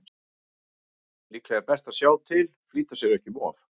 Líklega er best að sjá til, flýta sér ekki um of.